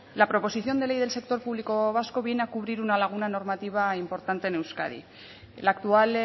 la proposición de ley del sector público vasco viene a cubrir una laguna normativa importante en euskadi la actual